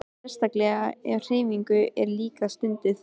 Sérstaklega ef hreyfing er líka stunduð.